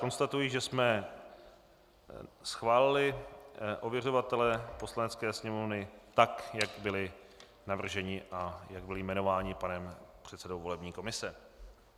Konstatuji, že jsme schválili ověřovatele Poslanecké sněmovny tak, jak byli navrženi a jak byli jmenováni panem předsedou volební komise.